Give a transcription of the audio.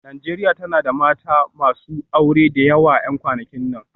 Najeriya tana da mata masu aure da yawa a kwanakin nan